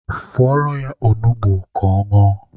Fọrọ ya onugbu ka ọ ñụọ.